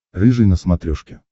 рыжий на смотрешке